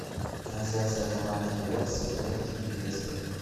трансляция команд апл саутгемптон и лестер